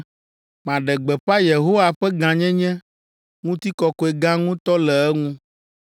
Maɖe gbeƒã Yehowa ƒe gãnyenye ŋutikɔkɔe gã ŋutɔ le eŋu!